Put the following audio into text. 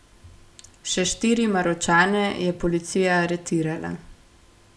Še štiri Maročane je policija aretirala.